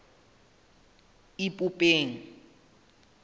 ipopeng